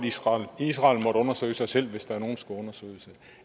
israel israel måtte undersøge sig selv hvis nogen skulle undersøges